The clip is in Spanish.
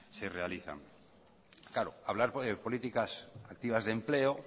se realizan claro hablar de políticas activas de empleo